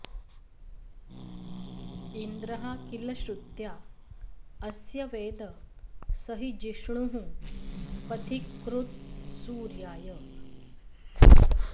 इन्द्रः किल श्रुत्या अस्य वेद स हि जिष्णुः पथिकृत्सूर्याय